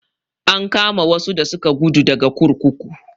An kama wasu da suka guda daga kurkuku.